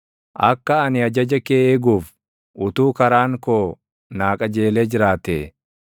Akka ani ajaja kee eeguuf utuu karaan koo naa qajeelee jiraatee!